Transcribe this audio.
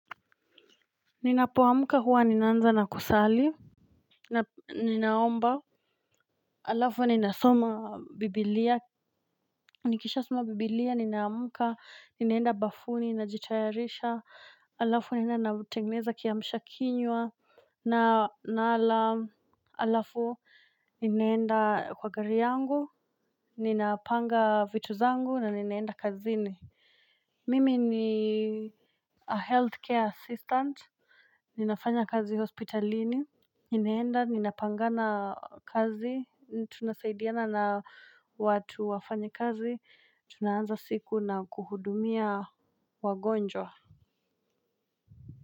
Ninapoamuka huwa, ninanza na kusali. Ninaomba, halafu, ninasoma bibilia. Nikisha soma biblia, ninaamka, ninaenda bafuni, najitayarisha, halafu, ninaenda natengeneza kiamshakinywa. Na nala, halafu, ninaenda kwa gari yangu, ninapanga vitu zangu, na ninaenda kazini. Mimi ni a healthcare assistant, ninafanya kazi hospitalini, ninaenda, ninapangana kazi, tunasaidiana na watu wafanya kazi, tunaanza siku na kuhudumia wagonjwa.